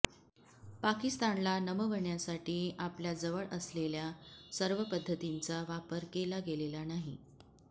पाकिस्तानला नमवण्यासाठी आपल्या जवळ असलेल्या सर्वपद्धतींचा वापर केला गेलेला नाही